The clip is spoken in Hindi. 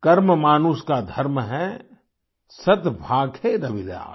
कर्म मानुष का धर्म है सत् भाखै रविदास